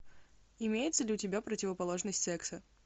имеется ли у тебя противоположность секса